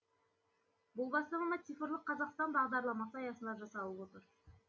бұл бастама цифрлық қазақстан бағдарламасы аясында жасалып отыр